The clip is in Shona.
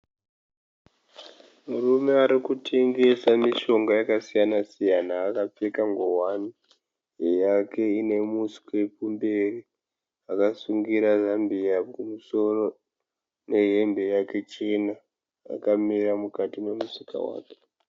Murume arikutengesa mishonga yakasiyana siyana akapfeka ngowani yake ine muswe kumberi. Akasungura zambiya kumusoro nehembe yake chena akamira mukati memusika wake.